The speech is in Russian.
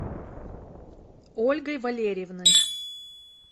ольгой валерьевной